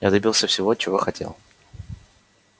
я добился всего чего хотел